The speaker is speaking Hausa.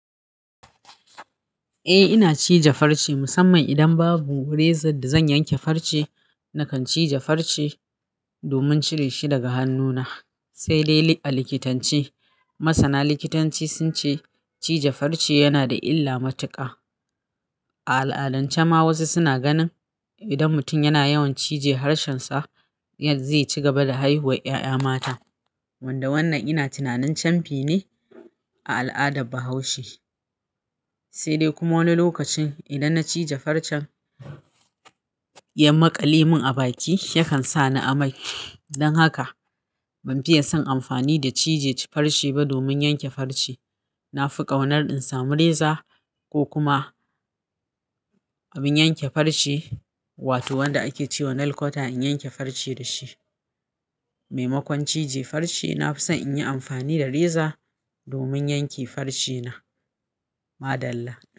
Eh ina cije farce musamman idan babu rezan da zan yanke farce nakan cije farce domin cire shi daga hannuna. Sai dai a likitance masana likitanci sun ce cije farce yana da illa matuƙa. A al'adance ma wasu suna ganin idan mutum yana yawan cije harshensa, zai ci gaba da haihuwar ƴaƴa mata. Wanda wannan ina tunanin camfi ne a al'adar Bahaushe. Sai dai kuma wani lokacin idan na cije farcen, ya maƙale mun a baki yakan sa ni amai. Dan haka ban fiye son amfani da cije cije farce ba domin yanke farce. Na fi ƙaunar in samu reza ko kuma abin yanke farce wato wanda ake ce wa nail cutter in yanke farce da shi. Mai makon cije farce, na fi son in yi amfani da reza domin yanke farce na. Maɗalla.